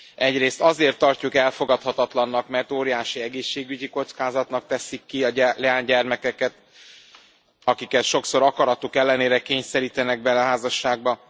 Egyrészt azért tartjuk elfogadhatatlannak, mert óriási egészségügyi kockázatnak teszik ki a leánygyermekeket, akiket sokszor akaratuk ellenére kényszerítenek bele házasságba.